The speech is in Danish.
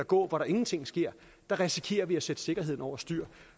gå hvor der ingenting sker risikerer vi at sætte sikkerheden over styr